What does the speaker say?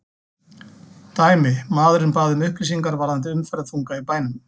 Dæmi: Maðurinn bað um upplýsingar varðandi umferðarþunga í bænum.